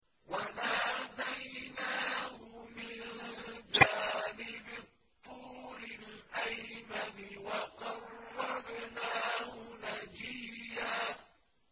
وَنَادَيْنَاهُ مِن جَانِبِ الطُّورِ الْأَيْمَنِ وَقَرَّبْنَاهُ نَجِيًّا